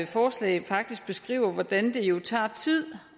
forslag faktisk beskriver hvordan det jo tager tid